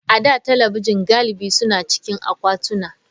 A da, talabijin galibi suna cikin akwatuna.